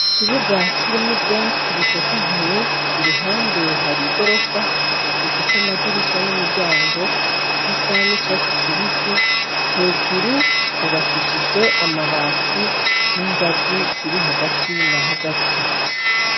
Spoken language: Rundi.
Ikibuga kirimwo ivyatsi bitotahaye , iruhande hari igirofa ifise amadirisha n'imiryango bisa n'icatsi kibisi , hejuru hubakishijwe amabati n'ingazi ziri hagati na hagati.